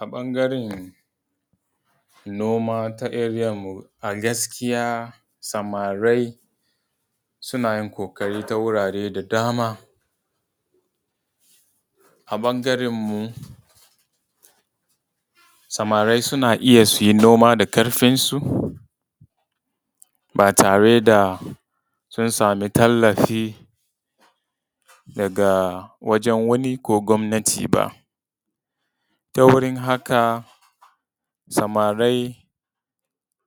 A ɓangaran noma ta area mu a gaskiya samari suna yin ƙoƙari ta wurare da dama. A ɓangaran mu samari suna iya su yi noma da ƙarfinsu ba tare da sun samu tallafi daga wajen wani ko gwamnati ba. Ta wurin haka samari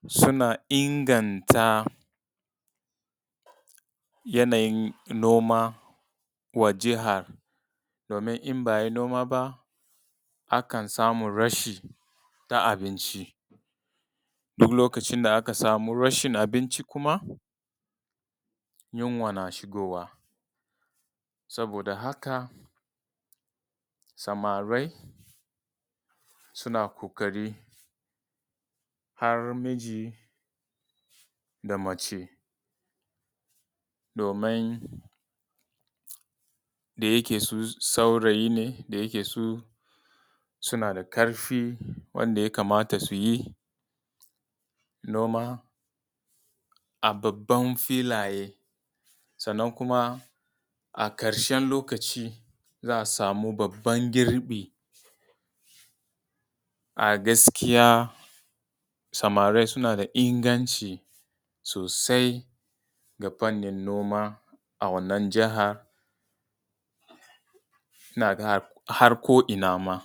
suna inganta yanayin noma wa jaha domin in ba a yi noma ba akan samu rashi na abinci. Duk lokacin da aka samu rashin na abinci kuma, yunwa na shigowa. Saboda haka samari suna ƙoƙari har miji da mace domin da yake su saurayi ne, da yake su suna da ƙarfi wanda ya kamata su yi noma a babban filaye, sannan kuma a ƙarshen lokacin za a samu babban girbi. A gaskiya samari suna da inganci sosai a fanin noma a wannan jaha, ina ga har ko ina ma.